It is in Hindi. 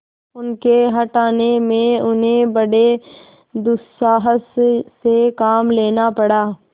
उनके हटाने में उन्हें बड़े दुस्साहस से काम लेना पड़ा